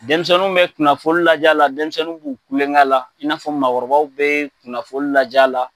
Denmisɛnninw bɛ kunafɔli lajɛ la denmisɛnninw b'u kulonkɛ la in n'a fɔ makɔrɔbaw bɛ kunafɔli lajɛ la.